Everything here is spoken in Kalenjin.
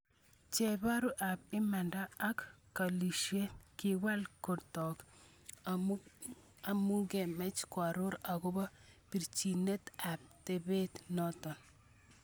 Chebaru ab imanda ko kalisiet, kiwal kunotok amukikimeche koaror akobo birchinet ab tepeit noto.